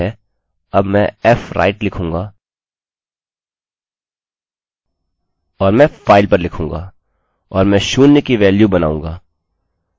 ठीक हैअब मैं fwrite लिखूँगा और मैं file पर लिखूँगा और मैं शून्य की वेल्यू बनाऊँगा